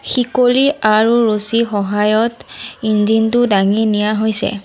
শিকলি আৰু ৰছী সহায়ত ইঞ্জিনটো দাঙি নিয়া হৈছে।